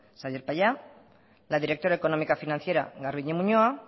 xabier paya la directora económica financiera garbiñe muñoa